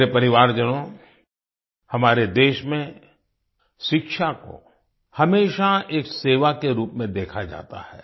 मेरे परिवारजनों हमारे देश में शिक्षा को हमेशा एक सेवा के रूप में देखा जाता है